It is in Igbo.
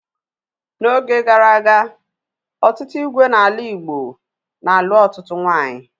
N'oge gara aga, ọtụtụ ígwè n'ala Igbo na-alụ ọtụtụ nwaanyị